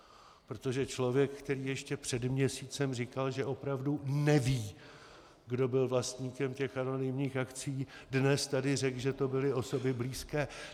Protože člověk, který ještě před měsícem říkal, že opravdu neví, kdo byl vlastníkem těch anonymních akcií, dnes tady řekl, že to byly osoby blízké.